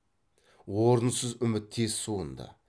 орынсыз үміт тез суынды